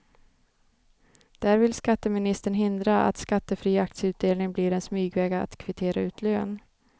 Där vill skatteministern hindra att skattefri aktieutdelning blir en smygväg att kvittera ut lön.